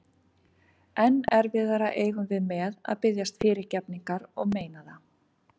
Enn erfiðara eigum við með að biðjast fyrirgefningar og meina það.